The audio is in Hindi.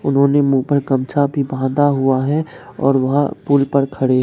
उन्होंने मुंह पर गमछा भी बांधा हुआ है और वह पुल पर खड़े--